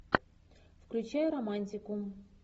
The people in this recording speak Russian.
включай романтику